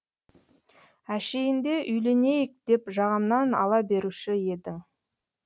әшейінде үйленейік деп жағамнан ала беруші еді